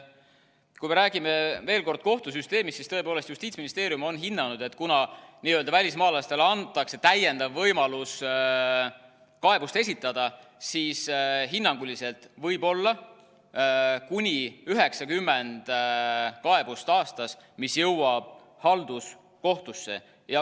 Kui me räägime veel kord kohtusüsteemist, siis tõepoolest, Justiitsministeerium on hinnanud, et kuna välismaalastele antakse täiendav võimalus kaebust esitada, siis hinnanguliselt võib olla aastas kuni 90 kaebust, mis jõuavad halduskohtusse.